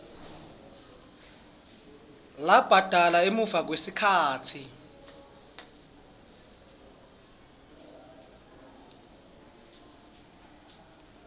labhadala emuva kwesikhatsi